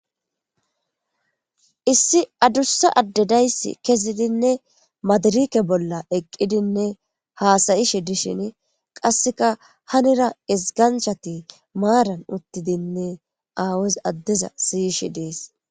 Issi adussa adde daysi kessidine maadarike bolla eqqidinne haasayishe dishin qasseka hanira iziganchati maaran uttidinne aawas addeza siyishe dees.